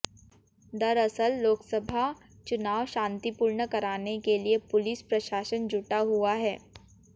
दरअसल लोकसभा चुनाव शांतिपूर्ण कराने के लिए पुलिस प्रशासन जुटा हुआ है